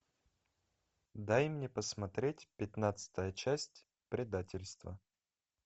дай мне посмотреть пятнадцатая часть предательство